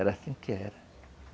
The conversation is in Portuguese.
Era assim que era.